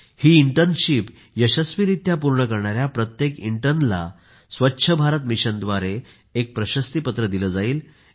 ही internship यशस्वीरीत्या पूर्ण करणाऱ्या प्रत्येक प्रशिक्षुकाला स्वच्छ भारत मिशन द्वारे एक प्रशस्तीपत्र दिले जाईल